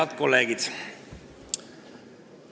Head kolleegid!